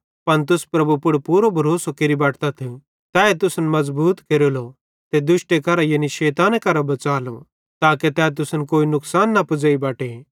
पन तुस प्रभु पुड़ पूरो भरोसो केरि बटतथ तैए तुसन मज़बूत केरेलो ते दुष्टे करां यानी शैताने करां बच़ालो ताके तै तुसन कोई नुकसान न पुज़ेई बटे